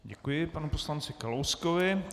Děkuji panu poslanci Kalouskovi.